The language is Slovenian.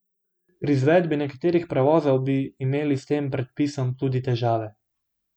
Pri izvedbi nekaterih prevozov bi imeli s tem predpisom tudi težave.